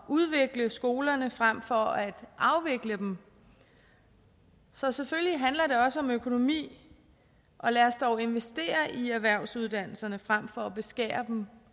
udvikle skolerne frem for at afvikle dem så selvfølgelig handler det også om økonomi og lad os dog investere i erhvervsuddannelserne frem for at beskære dem